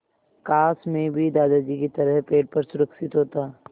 काश मैं भी दादाजी की तरह पेड़ पर सुरक्षित होता